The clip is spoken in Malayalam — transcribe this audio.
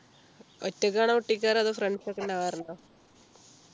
ഒറ്റക്കാണോ പൊട്ടിക്കാറ് അതോ friends ഒക്കെ ഉണ്ടാവാറുണ്ടോ